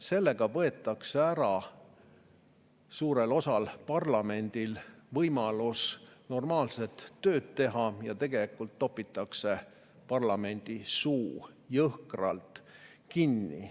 Sellega võetakse parlamendi suurelt osalt ära võimalus normaalset tööd teha ja tegelikult topitakse parlamendi suu jõhkralt kinni.